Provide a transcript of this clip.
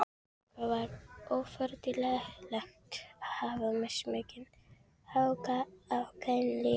En það er ofureðlilegt að hafa mismikinn áhuga á kynlífi.